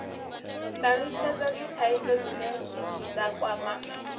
talutshhedza dzithaidzo dzine dza kwama